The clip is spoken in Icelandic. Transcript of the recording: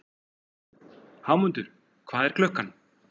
Hámundur, hvað er klukkan?